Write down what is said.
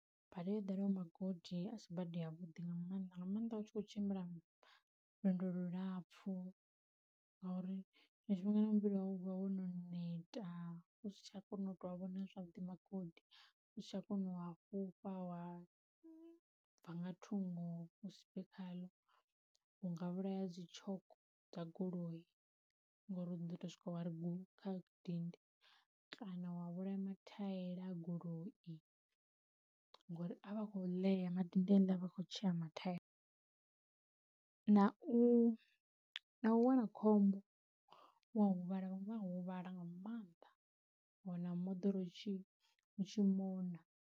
Bada yo ḓala ho magodi asi bada ya vhuḓi nga maanḓa, nga maanḓa u tshi khou tshimbila lwendo lu lapfhu, ngori tshiṅwe tshifhinga na muvhili wau u vha wono neta u si tsha kona u tou vhona zwavhuḓi magodi u si tsha kona u a fhufha wa bva nga thungo khaḽo u nga vhulaya dzi tshoko dza goloi ngori u do to swika wa ri guu kha dindi, kana wa vhulaya mathaela a goloi ngori avha akho ḽea madindi heaḽa avha a kho tshea mathaela. Na u na uwana khombo wa huvhala unga huvhala nga maanḓa wa wana moḓoro u tshi mona.